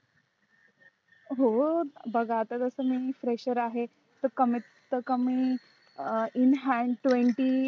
हो बघा आता तस मी fresher आहे तरी कमीत कमी in handtwenty